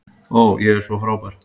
Ó, ég er svo frábær.